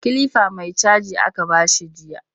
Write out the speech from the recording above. Kilifa mai caji aka ba shi jiya